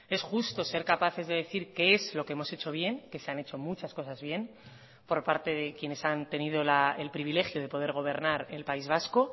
es justo ser capaces de decir que es lo que hemos hecho bien que se han hecho muchas cosas bien por parte de quienes han tenido el privilegio de poder gobernar el país vasco